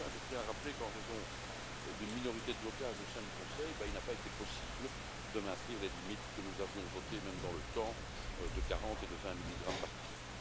Enfin, je tiens à rappeler qu'en raison d'une minorité de blocage au sein du Conseil, il n'a pas été possible de maintenir les limites que nous avions votées, même dans le temps, de 40 et de 20 milligrammes par kilo.